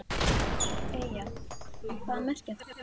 Eyjar, hvað merkja þær?